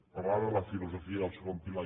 parlava de la filosofia del segon pilar